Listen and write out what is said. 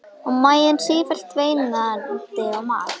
Og maginn sífellt veinandi á mat.